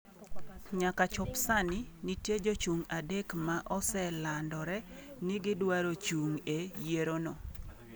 Nyaka chop sani, nitie jochung' 3 ma oselandore ni gidwaro chung' e yierono